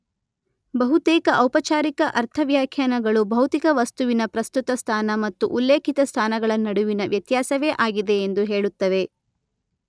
ಬಹುತೇಕ ಔಪಚಾರಿಕ ಅರ್ಥವ್ಯಾಖ್ಯಾನಗಳು ಭೌತಿಕ ವಸ್ತುವಿನ ಪ್ರಸ್ತುತ ಸ್ಥಾನ ಮತ್ತು ಉಲ್ಲೇಖಿತ ಸ್ಥಾನಗಳ ನಡುವಿನ ವ್ಯತ್ಯಾಸವೇ ಆಗಿದೆ ಎಂದು ಹೇಳುತ್ತವೆ.